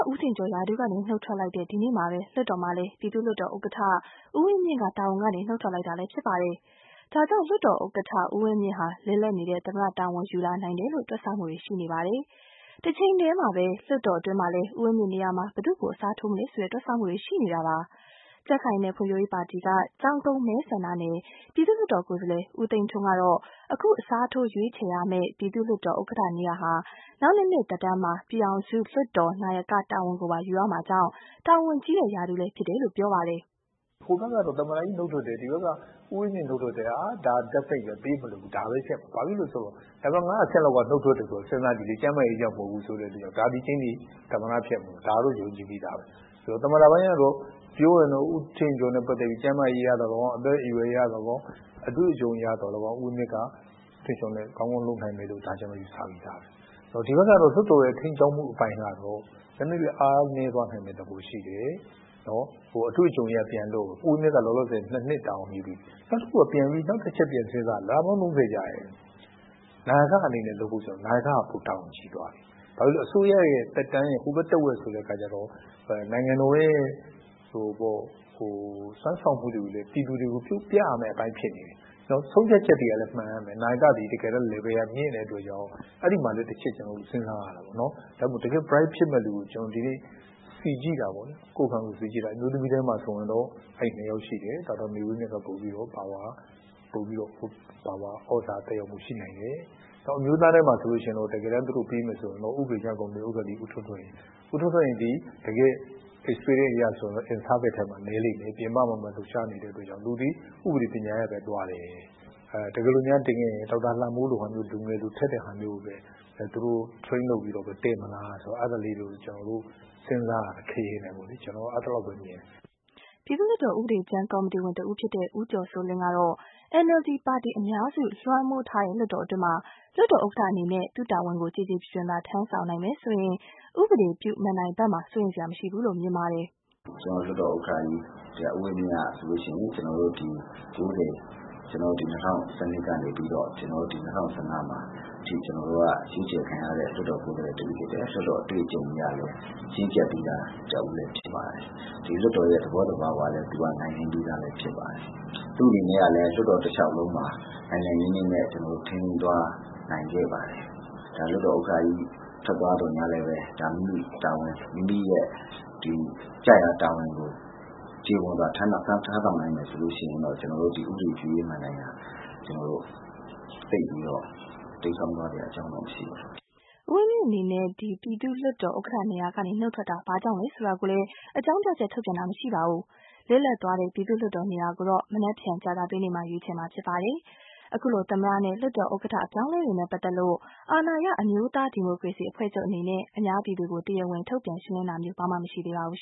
ဦးထင်ကျော် ရာထူးကနေ နုတ်ထွက်လိုက်တဲ့ ဒီနေ့မှာပဲ၊ လွှတ်တော်မှာလည်း ပြည်သူ့လွှတ်တော်ဥက္ကဌ ဦးဝင်းမြင့်က တာဝန်ကနေ နုတ်ထွက်လိုက်ပြန်ပါတယ်။ ဒါကြောင့် လွှတ်တော်ဥက္ကဌ ဦးဝင်းမြင့်ဟာ လစ်လပ်နေတဲ့ သမ္မတ တာဝန် ယူလာနိုင်တယ် လို့ တွက်ဆမှုတွေ ရှိနေပါတယ်။ တချိန်တည်းမှာ လွှတ်တော်အတွင်းမှာ လည်း ဦးဝင်းမြင့်နေရာမှာ ဘယ်သူကို အစားထိုးမလဲ တွက်ဆမှုတွေရှိနေပါတယ်။ မအိသန့်စင်က ပြောပြမှာပါ။ ကြံခိုင်ရေးနဲ့ဖွံဖြိုးရေးပါတီက ကျောင်းကုန်းမဲဆန္ဒနယ် ပြည်သူ့လွှတ်တော်ကိုယ်စားလှယ် ဦးသိန်းထွန်းကတော့ အခု အစားထိုးရွေးချယ်ရမယ့် ပြည်သူ့လွှတ်တော် ဥက္ကဌ နေရာဟာ နောက်နှစ်နှစ် သက်တမ်းမှာ ပြည်ထောင်စုလွှတ်တော် နာယကတာဝန်ကိုပါ ယူရမှာမို့ ၊ တာဝန်ကြီးတဲ့ ရာထူးလည်းဖြစ်တယ်လို့ ဆိုပါတယ်။ "ဟိုဘက်ကတော့ သမ္မတကြီးနုတ်ထွက်တယ် ၊ဒီဘက်ကတော့ ဦးဝင်းမြင့်နုတ်ထွက်တယ်ဆိုတော့ ဒါကပြေးမလွတ်ဘူး ဒါပဲ ဖြစ်မှာပဲ။ ဘာဖြစ်လို့လဲဆိုတော့ နံပတ် ၅ အဆင့်လောက်က နုတ်ထွက်တယ်ဆိုတော့ စဉ်းစားကြည့်လေ ကျန်မာရေးကြောင့်လဲမဟုတ်ဘူးဆိုတော့ ဒါသည် ကြိမ်းသေ သမ္မတဖြစ်မှာ ဒါကတော့ ယုံကြည်ပြီးသားပဲ။ သမ္မတပိုင်းကတော့ ပြောရင်တော့ ဦးထင်ကျော် နဲ့ ပတ်သက်ပြီး ကျန်းမာရေးအရသော်လည်းကောင်း ၊ အသက်အရွယ်အရသော်လည်းကောင်း ၊ အတွေ့အကြုံအရသော်လည်းကောင်း ဦးဝင်းမြင့်က ကောင်းကောင်းလုပ်နိုင်မယ်လို့ ကျနော်တို့ ယူဆပြီးသား။ ဒီဘက်ကတော့ လွှတ်တော်ရဲ့ ထိန်းကျောင်းမှု အပိုင်းကတော့ နည်းနည်းလေး အားနည်း သွားနိုင်မယ့် သဘောရှိတယ်။ အတွေ့အကြုံအရကတော့ ဦးဝင်းမြင့်က လောလောဆယ် ၂ နှစ်တာဝန်ယူပြီးပြီ။ နောက်တချက်ပြန်စဉ်းစားတာက နာယကအနေနဲ့ လုပ်ဖို့ နာယက က ပိုပြီးတာဝန်ကြီးသွားပြီ။ နောက်ပြီးအစိုးရ သက်တမ်းရဲ့ ဟိုဘက် တဝက်ဆိုတော့ နိုင်ငံတော်ရဲ့စွမ်းဆောင်မှုတွေကို ပြည်သူတွေကို ပြရမယ့်အပိုင်းဖြစ်နေတယ်။ ဆုံးဖြတ်ချက်သည် မှန်ရမယ် နာယက Level ကမြင့်တဲ့အတွက်ကြောင့် အဲဒီမှာလည်း ကျနေ်ာတို့ တချက်စဉ်းစားရမယ်။ ဒါကြောင့် တကယ့် Bright ဖြစ်မယ့်လူကို ကျနော်စီကြည့်တာပေါ့လေ။ အမျိုးသမီးထဲမှာတော့ ၂ ယောက်ရှိတယ် ဒေါက်တာ မေဝင်းမြင့်က ပိုပြီးတော့ သြဇာသက်ရောက်မှုရှိနိုင်တယ်။ အမျိုးသားထဲမှာတော့ တကယ်တမ်း သူတို့ပေးမယ်ဆိုရင်တော့ ဥပဒေကြမ်းကော်မတီဥက္ကဌ ဦးထွန်းထွန်းဟိန်၊ သူသည် experience အရဆိုရင်တော့ in service နည်းလိမ့်မယ် ပြင်ပမှာပဲ လှုပ်ရှားနေတဲ့အတွက်ကြောင့် သူသည် ဥပဒေပညာရပ် သွားတယ်။ တကယ်လို့များတင်ခဲ့ရင် ဒေါက်တာလှမိုးလို လူငယ်လိုထက်တဲ့ဟာမျိုးကိုပဲ သူတို့ train လုပ်ပြီးတော့ တင်မလား အဲဒါလေးတွေ ကျနော်တို့ စဉ်းစားတယ်။ကျနော်ကတော့ အဲလောက်ပဲ မြင်တယ်" ပြည်သူ့လွှတ်တော် ဥပဒေကြမ်းကော်မတီဝင် တဦးဖြစ်တဲ့ ဦးကျော်စိုးလင်းကတော့ NLD ပါတီ အများစုလွှမ်းမိုးထားတဲ့ လွှတ်တော်အတွင်း လွှတ်တော်ဥက္ကဌအနေနဲ့သူ့တာဝန်ကို ကျေကျေပြွန်ပြွန်သာ ထမ်းဆောင်နိုင်မယ်ဆိုရင် ဥပဒေပြုမဏ္ဍိုင်ဖက်မှာ စိုးရိမ်စရာမရှိဘူး လို့ မြင်ပါတယ်။ "ကျတော်တို့ လွှတ်တော်ဥက္ကဌကြီး ဦးဝင်းမြင့်ကဆိုရင် ဒီ ၉၀ ရွေးကောက်ပွဲ နောက် ပြီး ၂၀၁၂ ကနေပြီးတော့ ၂၀၁၅ မှာ ရွေးချယ်ခံရတဲ့ လွှတ်တော်ကိုယ်စားလှယ် တဦးဖြစ်တယ်။ လွှတ်တော်အတွေ့အကြုံအရ လည်း ရင့်ကျက်ပြီးသား သူတယောက်ဖြစ်တယ်။ ဒီလွှတ်တော်ရဲ့ သဘောသဘာဝကိုလည်း နိုင်နင်းပြီးသား သူတယောက်ဖြစ်တယ်။ သူ့အနေနဲ့ လည်း လွှတ်တော်တလျောက်လုံးမှာ နိုင်နိုင်နင်းနင်းနဲ့ ထိန်းသိမ်းသွားနိုင်ခဲ့ပါတယ်။လွှတ်တော်ဥက္ကဌကြီး ထွက်သွားသော်လည်း မိမိရဲ့ ကျရာ တာဝန်ကို ကျေပွန်စွာ ထမ်းဆောင်နိုင်မယ်ဆိုရင် ကျနော်တို့ ဥပဒေပြုရေး မဏ္ဍိုင်သိပ်ပြီးတော့ တိမ်းစောင်းသွားစရာအကြောင်းမရှိပါဘူး။" ဦးဝင်းမြင့်အနေနဲ့ ပြည်သူ့လွှတ်တော်ဥက္ကဌနေရာကနေ နုတ်ထွက်တာ ဘာကြောင့်လဲ ဆိုတာကိုလည်း အကြောင်းပြချက် ထုတ်ပြန်တာမရှိပါဘူး။ လစ်လပ်သွားတဲ့ ပြည်သူ့လွှတ်တော်နေရာ ကိုတော့ မနက်ဖြန် ကြာသပတေးနေ့မှာ ရွေးချယ်မှာ ဖြစ်ပါတယ်။ အခုလို သမ္မတနဲ့ လွှတ်တော်ဥက္ကဌအပြောင်းအလဲတွေနဲ့ပတ်သက်လို့ အာဏာရ အမျိုးသားဒီမိုကရေစီ အဖွဲ့ချုပ်အနေနဲ့ အများပြည်သူကို တရားဝင် ထုတ်ပြန်ရှင်းလင်း တာမျိုး ဘာမှ မရှိသေးပါဘူး